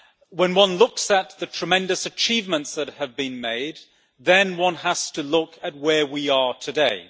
When one looks at the tremendous achievements that have been made, then one has to look at where we are today.